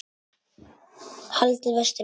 Haldið vestur á Firði